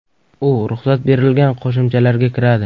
U ruxsat berilgan qo‘shimchalarga kiradi.